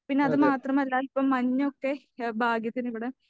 പിന്നെ അതു മാത്രമല്ല ഇപ്പോ മഞ്ഞ് ഒക്കെ ഭാഗ്യത്തിന് ഇവിടെ